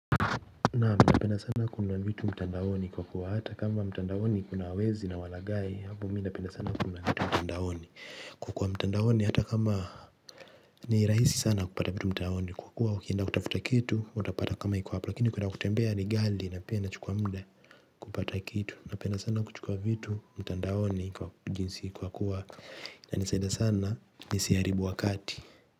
Na minapenda sana kununua vitu mtandaoni kwa kuwa hata kama mtandaoni kuna wezi na walagai hapo minapenda sana kuna vitu mtandaoni kukuwa mtandaoni hata kama ni rahisi sana kupata vitu mtandaoni kwa kuwa ukienda kutafuta kitu utapata kama iko hapo lakini kuenda kutembea ni ghali na pia inachukua mude. Kupata kitu napenda sana kuchukua vitu mtandaoni kwa jinsi kwa kuwa yanisaida sana nisiharibu wakati.